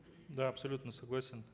да абсолютно согласен